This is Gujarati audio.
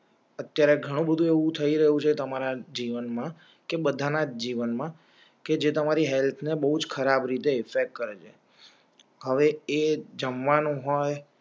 અત્યારે ઘણું બધું એવું થઈ રહ્યું છે તમારા જીવન માં કે બધા ના જ જીવન માં છે તમારી હેલ્થ બહુ ખરાબ રીતે ઇફેક્ટ કરેં છે હવે એ જમવા નું હોય